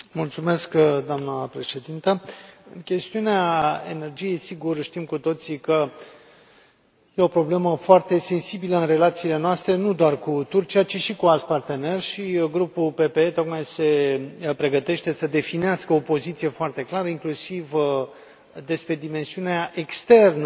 Doamna Președintă, chestiunea energiei, sigur, știm cu toții că este o problemă foarte sensibilă în relațiile noastre, nu doar cu Turcia, ci și cu alți parteneri și Grupul PPE tocmai se pregătește să definească o poziție foarte clară, inclusiv despre dimensiunea externă a